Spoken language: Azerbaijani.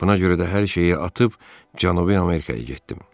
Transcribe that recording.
Buna görə də hər şeyi atıb Cənubi Amerikaya getdim.